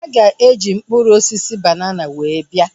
Ha ga-eji mkpụrụ osisi banana were bịa